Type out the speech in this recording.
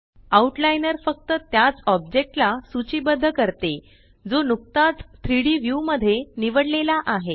out liner फक्त त्याच ऑब्जेक्टला सूचीबद्ध करते जो नुकताच 3Dव्यू मध्ये निवडलेला आहे